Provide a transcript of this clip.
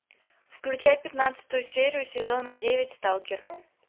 включай пятнадцатую серию сезона девять сталкер